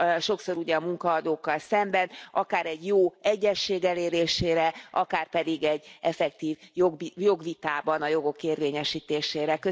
sokszor, ugye, a munkaadókkal szemben akár egy jó egyezség elérésére, akár pedig egy effektív jogvitában a jogok érvényesítésére.